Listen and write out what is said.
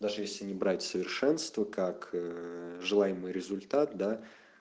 даже если не брать совершенство как эээ желаемый результат да